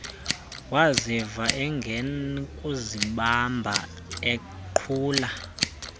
waziva engenakuzibamba eqhula